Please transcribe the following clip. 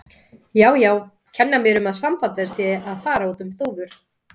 Já, já, kenna mér um að sambandið sé að fara út um þúfur.